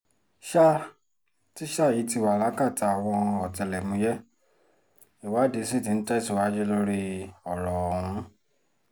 sá tíṣà yìí ti wà lákàtà àwọn ọ̀tẹlẹ̀múyẹ́ ìwádìí sí tí ń tẹ̀síwájú lórí ọ̀rọ̀ ọ̀hún